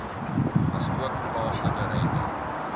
asook plaaslike rente